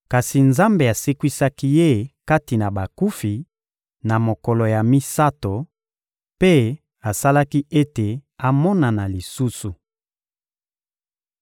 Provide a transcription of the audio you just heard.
kasi Nzambe asekwisaki Ye kati na bakufi, na mokolo ya misato, mpe asalaki ete amonana lisusu.